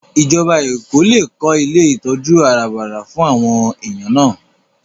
Ìjọba Èkó lè kó ilé ìtọ́jú àràbarà fún àwọn èèyàn náà